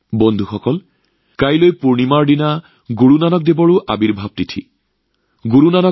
বন্ধুসকল কাইলৈ পূৰ্ণিমাৰ দিনা গুৰু নানক দেৱজীৰ প্ৰকাশ পৰ্বও উদযাপন কৰা হব